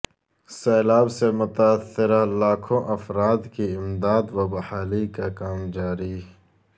سیلاب سے متاثرہ لاکھوں افراد کی امداد و بحالی کا کام جاری